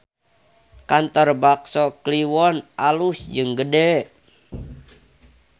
Kantor Bakso Kliwon alus jeung gede